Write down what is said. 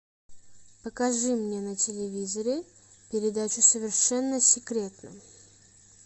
покажи мне на телевизоре передачу совершенно секретно